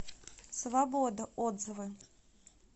свобода отзывы